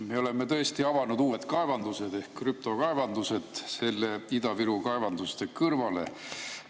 Me oleme tõesti avanud uued kaevandused ehk krüptokaevandused Ida-Viru kaevanduste kõrvale.